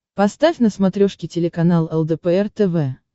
поставь на смотрешке телеканал лдпр тв